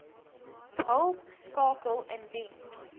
hulp skakel indien